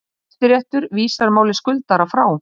Hæstiréttur vísar máli skuldara frá